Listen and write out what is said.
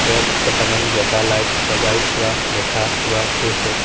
ওপৰত কেইটামান বগা লাইট লগাই থোৱা দেখা পোৱা গৈছে।